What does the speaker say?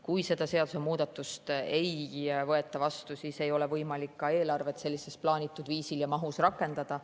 Kui seda seadusemuudatust ei võeta vastu, siis ei ole võimalik ka eelarvet plaanitud viisil ja sellises mahus rakendada.